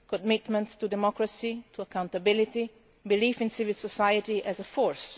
commitments to democracy and to accountability belief in civil society as a force.